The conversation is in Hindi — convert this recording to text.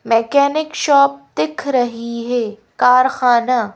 मैकेनिक शॉप दिख रही है कारखाना--